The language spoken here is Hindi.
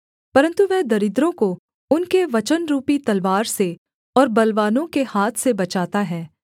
परन्तु वह दरिद्रों को उनके वचनरुपी तलवार से और बलवानों के हाथ से बचाता है